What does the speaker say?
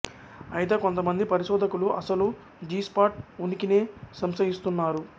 అయితే కొంతమంది పరిశోధకులు అసలు జి స్పాట్ ఉనికినే సంశయిస్తున్నారు